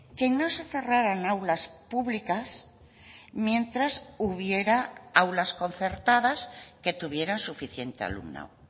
que no se cerraran aulas públicas mientras hubiera aulas concertadas que tuvieran suficiente alumnado